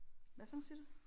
Hvad for noget siger du?